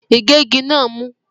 Ìgégi náà mú.